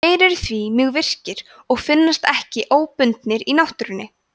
þeir eru því mjög virkir og finnast ekki óbundnir í náttúrunni